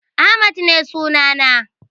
Ahmad ne sunana.